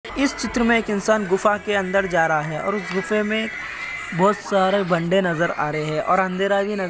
इस चित्र में एक इंसान गुफा के अन्दर जा रहा है ओए इस गुफा में बहोत सारे बंदे नजर आ रहे है और अँधेरा भी न --